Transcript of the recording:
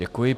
Děkuji.